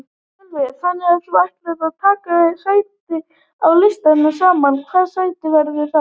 Sölvi: Þannig að þú ætlar að taka sæti á listanum sama hvaða sæti það verður?